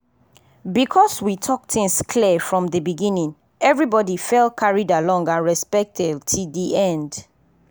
because we talk things clear from dey beginning everybody fell carried along and respected till dey end.